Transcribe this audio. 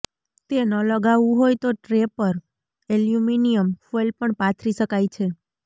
તે ન લગાવવું હોય તો ટ્રે પર એલ્યુમિનિયમ ફોઇલ પણ પાથરી શકાય છે